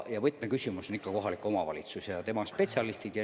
Ja võtmetegijad on ikka kohalik omavalitsus ja tema spetsialistid.